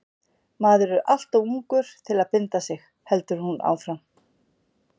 Maður er alltof ungur til að binda sig, heldur hún áfram.